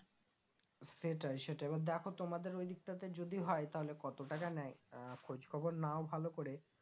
সেটাই সেটাই এবার দেখো তোমাদের ঐদিকটাতে যদি হয় তাহলে কত টাকা নেই আহ খোঁজ খবর নাও ভালো করে